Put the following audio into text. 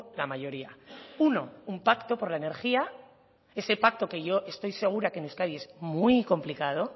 la mayoría uno un pacto por la energía ese pacto que yo estoy segura que aquí en euskadi es muy complicado